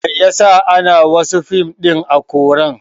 Mai yasa ana wasu fim ɗin a koran